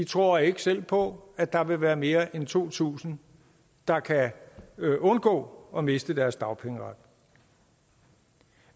tror ikke selv på at der vil være mere end to tusind der kan undgå at miste deres dagpengeret